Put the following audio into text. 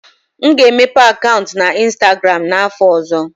M ga-emepe akaụntụ na ịnstagram n'afọ ọzọ